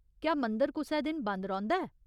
क्या मंदर कुसै दिन बंद रौंह्दा ऐ?